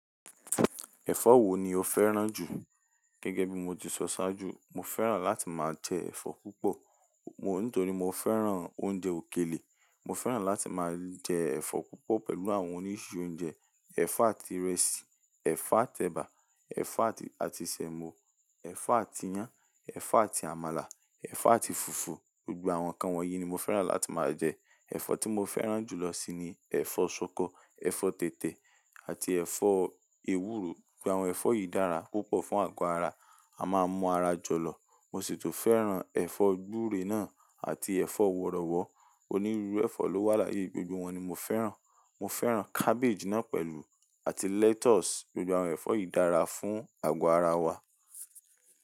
Ẹ̀fọ́ wo ni o fẹ́ràn jù? Gẹ́gẹ́ bí mo ti sọ sáájú, mo fẹ́ràn láti máa jẹ ẹ̀fọ́ púpọ̀. Mo-- nítorí mo fẹ́ràn oúnjẹ òkèlè. Mo fẹ́ràn láti máa jẹ ẹ̀fọ́ púpọ̀ pẹ̀lú àwọn oríṣi oúnjẹ. Ẹ̀fọ́ àti ìrẹsì, ẹ̀fọ́ àti ẹ̀bà, ẹ̀fọ́ àti àti sẹ̀mọ́, ẹ̀fọ́ àti iyán, ẹ̀fọ́ àti àmàlà, ẹ̀fọ́ àti fùfú, gbogbo àwọn nǹkan wọ̀nyí ni mo fẹ́ràn láti máa jẹ. Ẹ̀fọ́ tí mo fẹ́ràn jù lọ síi ni ẹ̀fọ́ ṣọkọ, ẹ̀fọ́ tètè àti ẹ̀fọ́ ewúro. Gbogbo àwọn ẹ̀fọ́ yìí dára púpọ̀ fún àgọ́ ara. A máa mú ara jọ̀lọ̀. Mo sì tún fẹ́ràn ẹ̀fọ́ gbúre náà àti ẹ̀fọ́ wọ̀rọ̀wọ̀ọ́. Onírúurú ẹ̀fọ́ ló wà láyé, gbogbo wọn ni mo fẹ́ràn. Mo fẹ́ràn cabbage náà pẹ̀lú àti lettuce. Gbogbo àwọn ẹ̀fọ́ yìí dára fún àgọ́ ara wa.